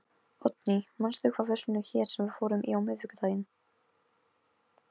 Oddný, manstu hvað verslunin hét sem við fórum í á miðvikudaginn?